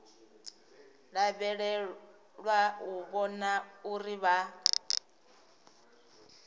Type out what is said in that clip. lavhelelwa u vhona uri vha